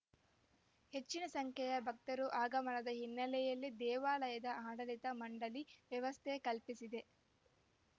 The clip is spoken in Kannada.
ಹೆಚ್ಚಿನ ಸಂಖ್ಯೆಯ ಭಕ್ತರ ಆಗಮನದ ಹಿನ್ನೆಲೆಯಲ್ಲಿ ದೇವಾಲಯದ ಆಡಳಿತ ಮಂಡಳಿ ವ್ಯವಸ್ಥೆ ಕಲ್ಪಿಸಿದೆ